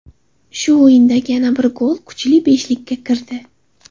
Shu o‘yindagi yana bir gol kuchli beshlikka kirdi.